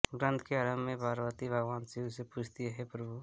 ग्रन्थ के आरम्भ में पार्वती भगवान शिव से पूछती हैं हे प्रभु